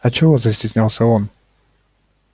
а чего застеснялся он